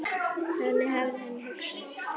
Þannig hafði hann hugsað.